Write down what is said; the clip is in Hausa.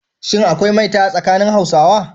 Shin akwai maita a tsakanin Hausawa?